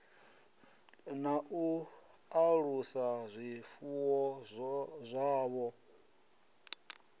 na u alusa zwifuwo zwavho